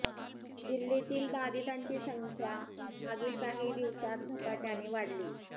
दिल्लीतील बाधितांची संख्या मागील काही दिवसांत झपाट्याने वाढली